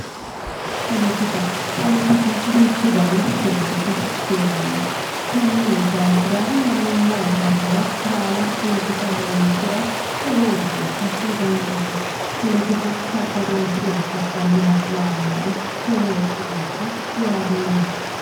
poletika, poletiku duuchu danihu heeranno konni daafira marrummo basera baala polotika horonsira lowo geeshsha didanchate polotiku babbaddooshshe abbannoha lawannae lowo geeshsha yaadeemma.